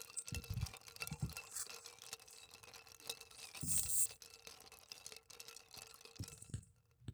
timitu tolmasheri, olkirobi,o moyiaritin naayua enkare. netipat tenedol olkitari o wueji nairag sidai